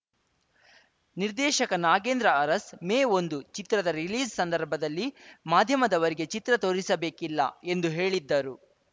ನಿರ್ದೇಶಕ ನಾಗೇಂದ್ರ ಅರಸ್‌ ಮೇ ಒಂದು ಚಿತ್ರದ ರಿಲೀಸ್‌ ಸಂದರ್ಭದಲ್ಲಿ ಮಾಧ್ಯಮದವರಿಗೆ ಚಿತ್ರ ತೋರಿಸಬೇಕಿಲ್ಲ ಎಂದು ಹೇಳಿದ್ದರು